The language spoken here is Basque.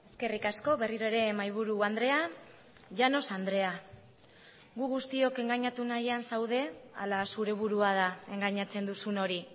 eskerrik asko berriro ere mahaiburu andrea llanos andrea gu guztiok engainatu nahian zaude ala zure burua da engainatzen duzun hori